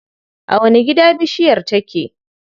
A wani gida bishiyar take?